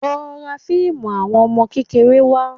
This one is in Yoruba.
Lọ ra fíìmù àwọn ọmọ kékeré wá